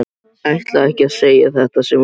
Ætlaði ekki að segja þetta sem hún sagði.